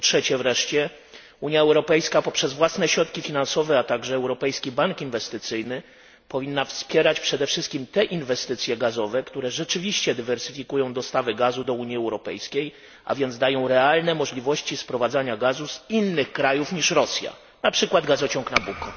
Po trzecie wreszcie, Unia Europejska poprzez własne środki finansowe, a także Europejski Bank Inwestycyjny powinna wspierać przede wszystkim te inwestycje gazowe, które rzeczywiście zdywersyfikują dostawy gazu do Unii Europejskiej, a więc dadzą realne możliwości sprowadzania gazu z innych krajów niż Rosja, np. gazociąg Nabucco.